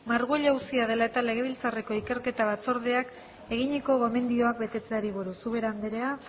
marguello auzia dela eta legebiltzarreko ikerketa batzordeak eginiko gomendioak betetzeari buruz ubera anderea